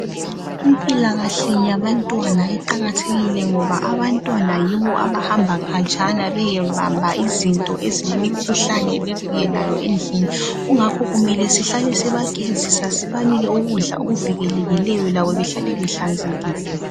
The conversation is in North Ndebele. Impilakahle yabantwa iqakathekile ngoba abantwana yibo abahamba indawo yonke beyebamba izinto ezilekhuhlane bebuyelayo endlini. Kungakho kumele sihlale sibagezisa, sibanikeze lokudla okuhlanzekileyo ukuze bevikeleke.